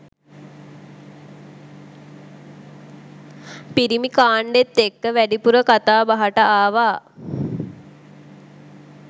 පිරිමි කාණ්ඩෙත් එක්ක වැඩිපුර කතා බහට ආවා.